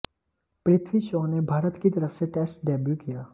पृथ्वी शॉ ने भारत की तरफ से टेस्ट डेब्यू किया